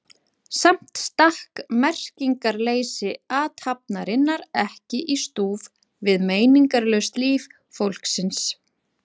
Hún í sófanum að bíða hans og hann frammi í eldhúsi að hita kaffi.